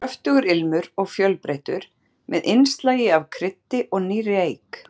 Kröftugur ilmur og fjölbreyttur, með innslagi af kryddi og nýrri eik.